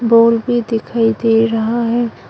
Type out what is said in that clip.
Ball भी दिखाई दे रहा है।